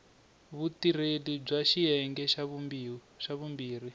vutirheli bya xiyenge xa vumbirhi